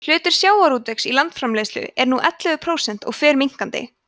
hlutur sjávarútvegs í landsframleiðslu er nú ellefu prósent og fer minnkandi